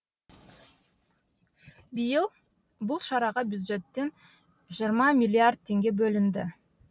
биыл бұл шараға бюджеттен жиырма миллиард теңге бөлінді